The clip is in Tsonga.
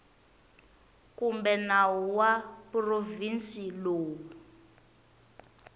kumbe nawu wa provhinsi lowu